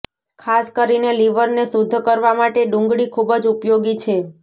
ખાસ કરીને લિવરને શુદ્ધ કરવા માટે ડુંગળી ખૂબ જ ઉપયોગી છે